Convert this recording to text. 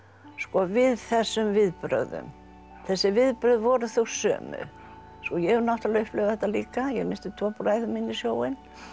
við þessum viðbrögðum þessi viðbrögð voru þau sömu svo ég hef náttúrulega upplifað þetta líka ég missti tvo bræður mína í sjóinn